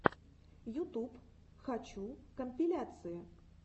ютуб хочу компиляции